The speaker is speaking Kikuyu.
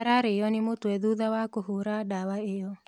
Ararĩo nĩ mũtwe thutha wa kũhũra ndawa ĩyo